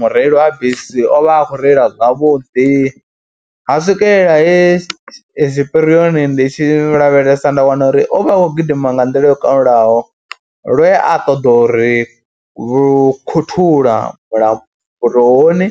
mureili wa bisi o vha a khou reila zwavhuḓi ha swikelela he tshipirioni ndi tshi lavhelesa nda wana uri o vha a khou gidima nga nḓila yo kalulaho lwe a ṱoḓa uri lukhuthula mulamboni,